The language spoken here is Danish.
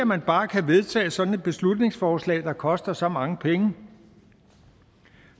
man bare kan vedtage sådan et beslutningsforslag der koster så mange penge